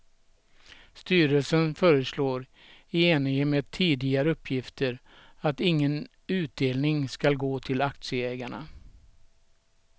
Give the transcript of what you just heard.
Styrelsen föreslår, i enlighet med tidigare uppgifter, att ingen utdelning ska gå till aktieägarna.